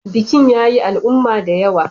Bikin ya yi al'umma da yawa.